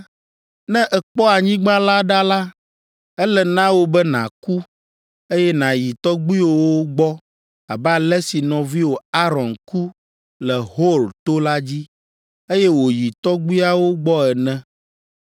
Ne èkpɔ anyigba la ɖa la, ele na wò be nàku, eye nàyi tɔgbuiwòwo gbɔ abe ale si nɔviwò Aron ku le Hor to la dzi, eye wòyi tɔgbuiawo gbɔe ene,